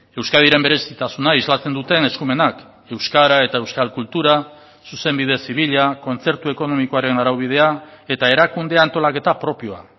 euskadiren berezitasuna islatzen duten eskumenak euskara eta euskal kultura zuzenbide zibila kontzertu ekonomikoaren araubidea eta erakunde antolaketa propioa